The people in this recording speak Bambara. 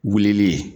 Wulili